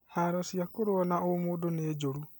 Haro cia kũrũa na ũmũndũ nĩ njũru